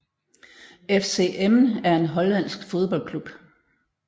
FC Emmen er en hollandsk fodboldklub